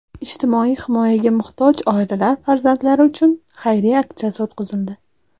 ijtimoiy himoyaga muhtoj oilalar farzandlari uchun xayriya aksiyasi o‘tkazildi.